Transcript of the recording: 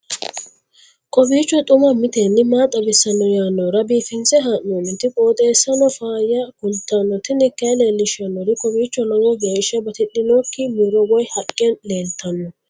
kowiicho xuma mtini maa xawissanno yaannohura biifinse haa'noonniti qooxeessano faayya kultanno tini kayi leellishshannori kowiicho lowo geehshsa batidhinoikka muro woy haqqe leeltanno